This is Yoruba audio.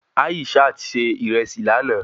Aishat ṣe ìrẹsì lánàá